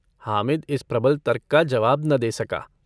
हामिद इस प्रबल तर्क का जवाब न दे सका।